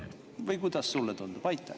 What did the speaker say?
Või kuidas sulle tundub?